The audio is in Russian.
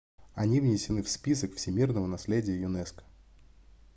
они внесены в список всемирного наследия юнеско